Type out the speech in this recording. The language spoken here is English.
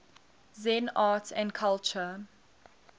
zen art and culture